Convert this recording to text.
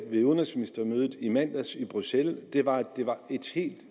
ved udenrigsministermødet i mandags i bruxelles var at det var et helt